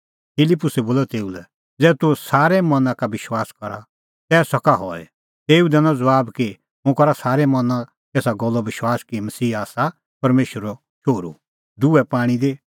फिलिप्पुसै बोलअ तेऊ लै ज़ै तूह सारै मना का विश्वास करा तै सका हई तेऊ दैनअ ज़बाब कि हुंह करा एसा गल्लो विश्वास कि मसीहा आसा परमेशरो शोहरू